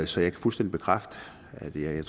så jeg kan fuldstændig bekræfte at vi har